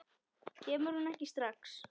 Kemur hún ekki strax?